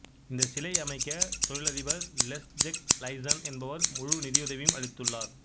இந்த சிலை அமைக்க தொழிலதிபர் லெஸ்ஜெக் லைசன் என்பவர் முழு நிதியுதவியும் அளித்துள்ளார்